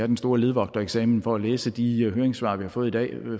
den store ledvogtereksamen for at kunne læse de høringssvar vi har fået i dag og